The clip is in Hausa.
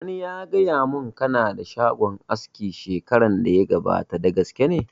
Wani ya gaya mun ka na da shagon aski shekaran da ya gabata, da gaske ne?